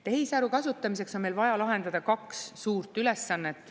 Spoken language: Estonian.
Tehisaru kasutamiseks on meil vaja lahendada kaks suurt ülesannet.